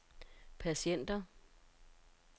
patienter